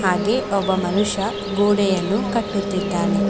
ಹಾಗೆಯೇ ಒಬ್ಬ ಮನುಷ್ಯ ಗೋಡೆಯನ್ನು ಕಟ್ಟುತ್ತಿದ್ದಾನೆ.